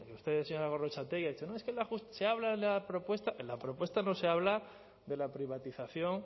usted señora gorrotxategi ha dicho no es que en la se habla en la propuesta en la propuesta no se habla de la privatización